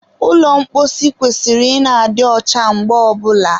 ụlọ mposi kwesịrị ị na-adị ọcha mgbe ọbụla